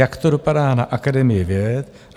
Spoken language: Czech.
Jak to dopadá na Akademii věd?